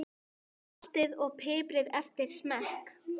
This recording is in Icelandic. Saltið og piprið eftir smekk.